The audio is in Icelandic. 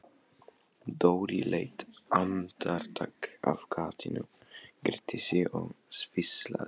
Dóri leit andartak af gatinu, gretti sig og hvíslaði